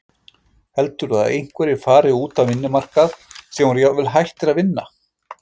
Heldurðu að einhverjir fari út á vinnumarkað sem voru jafnvel hættir að vinna?